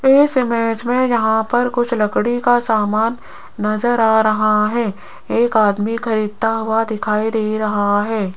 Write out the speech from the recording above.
इस इमेज में यहां पर कुछ लकड़ी का सामान नजर आ रहा है एक आदमी खरीदता हुआ दिखाई दे रहा है।